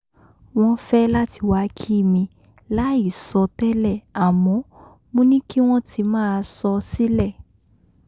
wọ́n fẹ́ láti wa kí mi láì sọ tẹ́lẹ̀ àmọ́ mo ní kí wọ́n ti máa sọ sílẹ̀